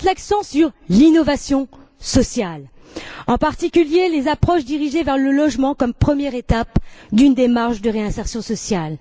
Il faut mettre l'accent sur l'innovation sociale, en particulier les approches dirigées vers le logement comme première étape d'une démarche de réinsertion sociale.